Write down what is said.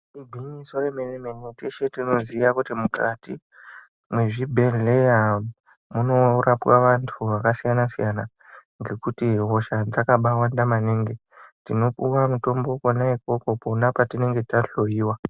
Igwinyiso remene mene teshe tinoziya kuti mukati mwezvibhedhleya munorapwa vantu vakasiyana siyana ngekuti hosha dzakabaawanda maningi. Tinopuwa mutombo kwona ukwokwo pona patinenge tahloiwa.